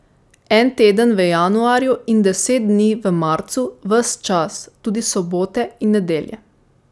En teden v januarju in deset dni v marcu, ves čas, tudi sobote in nedelje.